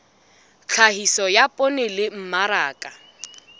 tlhahiso ya poone le mmaraka